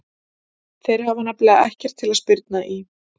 Þeir hafa nefnilega ekkert til að spyrna í.